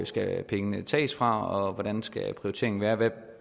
skal pengene tages fra og hvordan skal prioriteringen være hvad kan